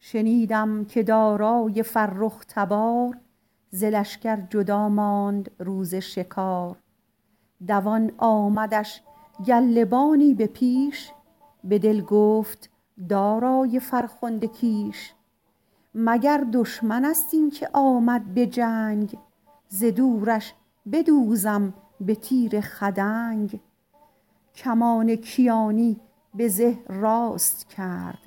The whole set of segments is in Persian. شنیدم که دارای فرخ تبار ز لشکر جدا ماند روز شکار دوان آمدش گله بانی به پیش به دل گفت دارای فرخنده کیش مگر دشمن است این که آمد به جنگ ز دورش بدوزم به تیر خدنگ کمان کیانی به زه راست کرد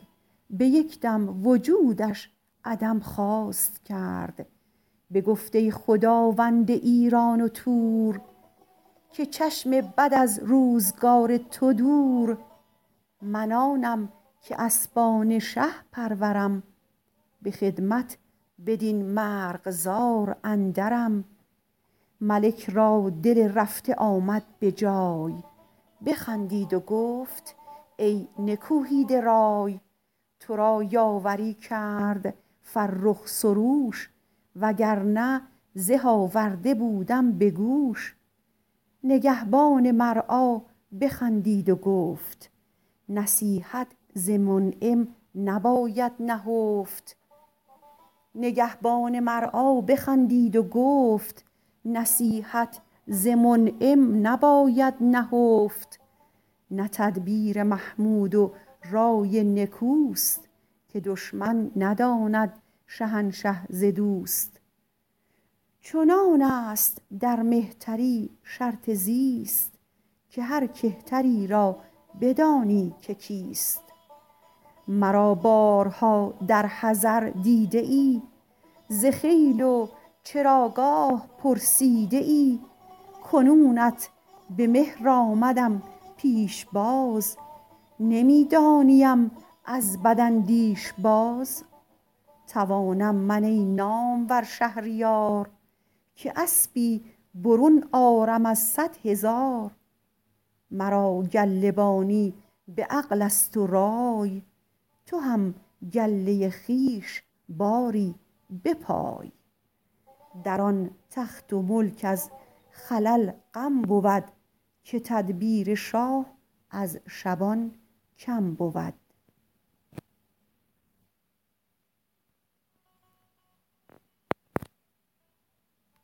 به یک دم وجودش عدم خواست کرد بگفت ای خداوند ایران و تور که چشم بد از روزگار تو دور من آنم که اسبان شه پرورم به خدمت بدین مرغزار اندرم ملک را دل رفته آمد به جای بخندید و گفت ای نکوهیده رای تو را یاوری کرد فرخ سروش وگر نه زه آورده بودم به گوش نگهبان مرعی بخندید و گفت نصیحت ز منعم نباید نهفت نه تدبیر محمود و رای نکوست که دشمن نداند شهنشه ز دوست چنان است در مهتری شرط زیست که هر کهتری را بدانی که کیست مرا بارها در حضر دیده ای ز خیل و چراگاه پرسیده ای کنونت به مهر آمدم پیشباز نمی دانیم از بداندیش باز توانم من ای نامور شهریار که اسبی برون آرم از صد هزار مرا گله بانی به عقل است و رای تو هم گله خویش باری بپای در آن تخت و ملک از خلل غم بود که تدبیر شاه از شبان کم بود